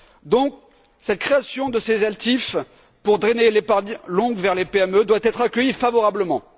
Donc, la création de ces ELTIF pour drainer l'épargne longue vers les PME doit être accueillie favorablement.